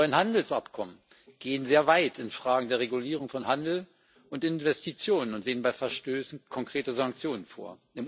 Die neuen Handelsabkommen gehen sehr weit in Fragen der Regulierung von Handel und Investitionen und sehen bei Verstößen konkrete Sanktionen vor.